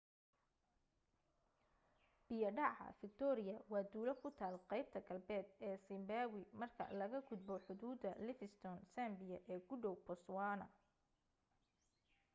biya dhaca fiktooriya waa tuulo ku taal qaybta galbeed ee siimbaawi markaa laga gudbo xuduuda livingstone zambia ee ku dhow botoswaana